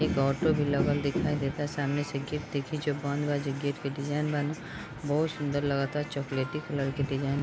एक ऑटो भी लगल दिखाई देता सामने से गेट देखि जो बंद बा जो गेट के डिज़ाइन बा न उ बहुत सुन्दर लगता चोक्लेटी कलर के डिज़ाइन --